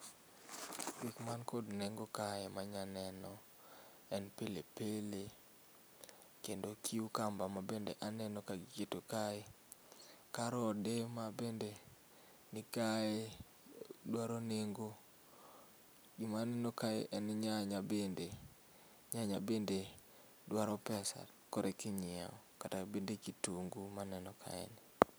Kik man kod nengo kae manya neno en pili pili kendo cucumber mabende aneno ka giketo kae, karode mabende nikae, dwaro nengo .Gima aneno kae en nyanya bende, nyanya bende dwaro pesa koreka inyiew kata bende kitungu maneno kae